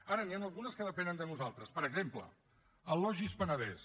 ara n’hi han algunes que depenen de nosaltres per exemple el logis penedès